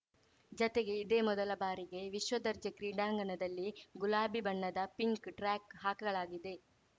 ಜತೆಗೆ ಇದೇ ಮೊದಲ ಬಾರಿಗೆ ವಿಶ್ವ ದರ್ಜೆ ಕ್ರೀಡಾಂಗಣದಲ್ಲಿ ಗುಲಾಬಿ ಬಣ್ಣದ ಪಿಂಕ್‌ ಟ್ರ್ಯಾಕ್‌ ಹಾಕಲಾಗಿದೆ